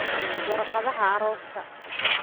Warqadaha arooska